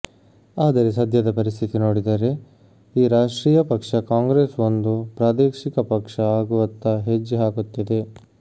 ಆದರೆ ಸದ್ಯದ ಪರಿಸ್ಥಿತಿ ನೋಡಿದರೆ ಈ ರಾಷ್ಟ್ರೀಯ ಪಕ್ಷ ಕಾಂಗ್ರೆಸ್ ಒಂದು ಪ್ರಾದೇಶಿಕ ಪಕ್ಷ ಆಗುವತ್ತ ಹೆಜ್ಜೆ ಹಾಕುತ್ತಿದೆ